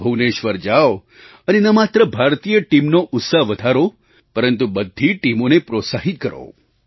ભુવનેશ્વર જાવ અને ન માત્ર ભારતીય ટીમનો ઉત્સાહ વધારો પરંતુ બધી ટીમોને પ્રોત્સાહિત કરો